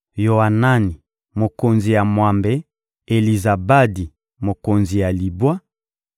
Yoanani, mokonzi ya mwambe; Elizabadi, mokonzi ya libwa;